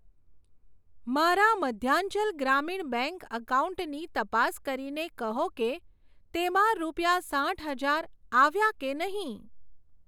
મારા મધ્યાંચલ ગ્રામીણ બેંક એકાઉન્ટની તપાસ કરીને કહો કે તેમાં રૂપિયા સાઠ હજાર આવ્યા કે નહીં?